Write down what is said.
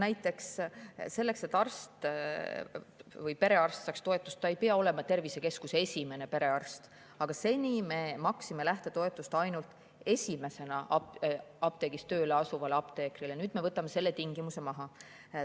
Näiteks selleks, et arst või perearst saaks toetust, ei pea ta olema tervisekeskuse esimene perearst, aga seni me maksime lähtetoetust ainult esimesena apteegis tööle asuvale apteekrile, nüüd me võtame selle tingimuse maha.